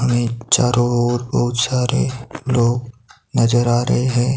चारों ओर बहुत सारे लोग नजर आ रहे हैं।